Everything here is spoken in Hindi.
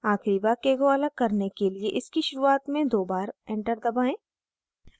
आखिरी वाक्य को अलग करने के लिए इसकी शुरुआत में दो बार enter दबाएँ